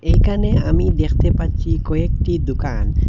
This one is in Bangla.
এখানে আমি দেখতে পাচ্ছি কয়েকটি দুকান।